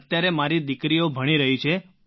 અત્યારે મારી દીકરીઓ ભણી રહી છે